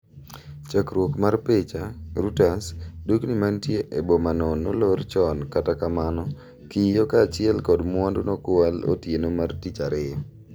Chakruok mar picha, Reuters. Dukni mantie e bomano nolor chon kata kamano, kiyoo kaachiel kod mwandu nokwal otieno mar tich ariyo.